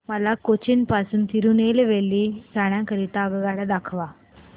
मला कोचीन पासून तिरूनेलवेली जाण्या करीता आगगाड्या दाखवा